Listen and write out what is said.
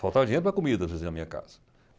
Faltava dinheiro para comida, às vezes, na minha casa.